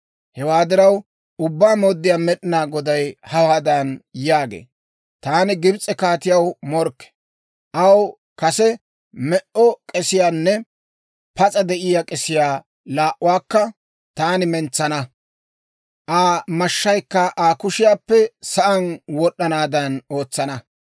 Hewaa diraw, Ubbaa Mooddiyaa Med'inaa Goday hawaadan yaagee; ‹Taani Gibs'e kaatiyaw morkke. Aw kase me"o k'esiyaanne pas'a de'iyaa k'esiyaa laa"uwaakka taani mentsana; Aa mashshaykka Aa kushiyaappe sa'aan wod'd'anaadan ootsana.